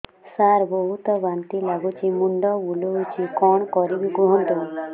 ସାର ବହୁତ ବାନ୍ତି ଲାଗୁଛି ମୁଣ୍ଡ ବୁଲୋଉଛି କଣ କରିବି କୁହନ୍ତୁ